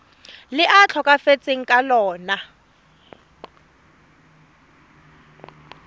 le a tlhokafetseng ka lona